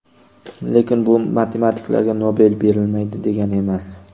Lekin bu matematiklarga Nobel berilmaydi degani emas.